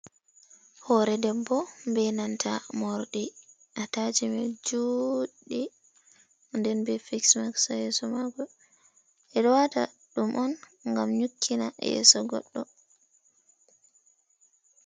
Hore debbo be nanta morɗi ataciment joɗɗi den be fees maks ha yeso mako. Ɓeɗo wata ɗum on gam nyukkina yeso goɗɗo.